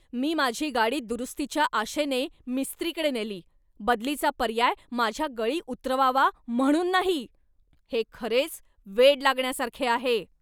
मी माझी गाडी दुरुस्तीच्या आशेने मिस्त्रीकडे नेली, बदलीचा पर्याय माझ्या गळी उतरवावा म्हणून नाही! हे खरेच वेड लागण्यासारखे आहे.